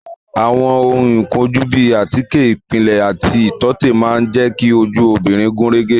Àwọn ohun ìkojú bíi àtíkè ìpìlẹ̀ àti ìtọ́tè máa jẹ ki ojú obìnrin gúnrégé